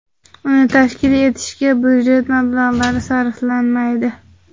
Uni tashkil etishga budjet mablag‘lari sarflanmaydi.